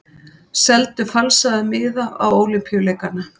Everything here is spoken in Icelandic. Seldu falsaða miða á Ólympíuleikana